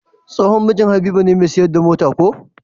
Tsohon mijin habiba ne me siyar da mota ko?